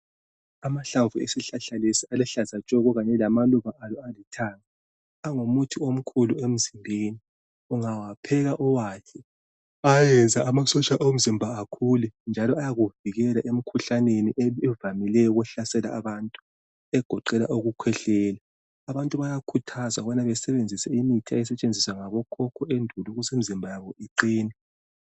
Amahlamvu esihlahla lesi aluhlaza tshoko kanye lamaluba alo alithanga, angumuthi omkhulu emzimbeni, ungawapheka uwadle ayayenza amasotsha omzimba akhule njalo ayakuvikela emkhuhlaneni evamileyo ukuhlasela abantu egoqela ukukhwehlela. Abantu bayakhuthazwa ukubana besebenzise imithi eyayisetshenziswa ngabo khokho endulo ukuze imizimba yabo iqine.